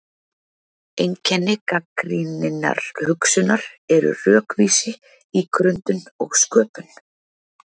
Einkenni gagnrýninnar hugsunar eru rökvísi, ígrundun og sköpun.